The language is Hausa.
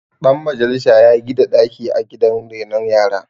Dan majalisa ya gida daki a gidan renon yara